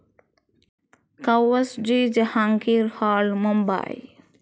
Cowasji Jehangir Hall, Mumbai